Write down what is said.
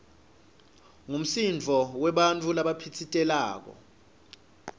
ngumsindvo webantfu labaphitsitelako